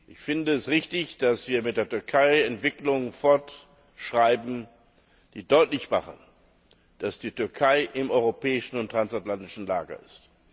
Ich finde es richtig, dass wir mit der Türkei Entwicklungen fortschreiben, die deutlich machen, dass die Türkei im europäischen und transatlantischen Lager ist.